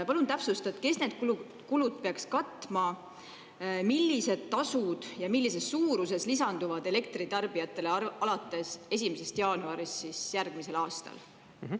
Palun täpsusta, kes need kulud peaks katma, millised tasud ja millises suuruses lisanduvad elektritarbijatele alates 1. jaanuarist järgmisel aastal?